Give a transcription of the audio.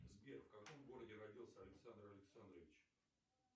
сбер в каком городе родился александр александрович